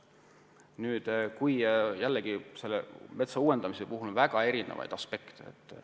Nüüd, jällegi, metsa uuendamise puhul on väga erinevaid aspekte.